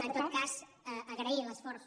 en tot cas agrair l’esforç